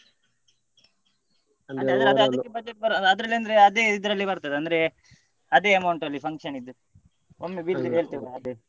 ಅಂದ್ರೆ ಅದ್ರಲ್ಲಿ ಅಂದ್ರೆ ಅದೇ ಇದ್ರಲ್ಲಿ ಬರ್ತದೆ ಅಂದ್ರೆ ಅದೇ amount ಅಲ್ಲಿ function ದ್ದು ಒಮ್ಮೆ ಹೇಳ್ತೇವೆ .